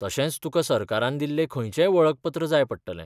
तशेंच तुका सरकारान दिल्लें खंयचेंय वळखपत्र जाय पडटलें.